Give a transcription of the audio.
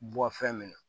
Bɔ fɛn min na